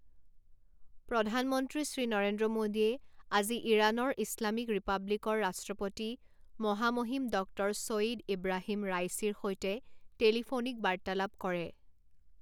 প্ৰধানমন্ত্ৰী শ্ৰী নৰেন্দ্ৰ মোদীয়ে আজি ইৰাণৰ ইছলামিক ৰিপাব্লিকৰ ৰাষ্ট্ৰপতি মহামহিম ডক্টৰ ছৈঈদ ইব্ৰাহিম ৰাইছিৰ সৈতে টেলিফোনিক বাৰ্তালাপ কৰে।